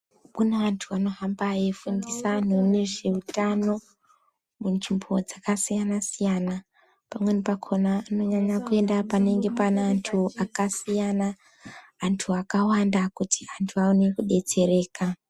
Kune antu anohamba eifundisa anhu nezvehutano munzvimbo dzakasiyana siyana pamweni pakona anonyanya kuenda panenge pane antu akasiyana antu akawanda kuti antu aone kudetsereka.